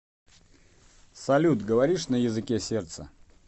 салют говоришь на языке сердца